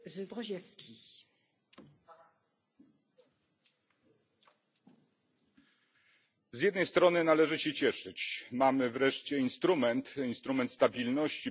Z jednej strony należy się cieszyć mamy wreszcie instrument, instrument stabilności i bezpieczeństwa, czyli swoiste połączenie problematyki rozwoju i właśnie bezpieczeństwa.